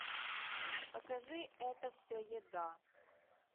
покажи это все еда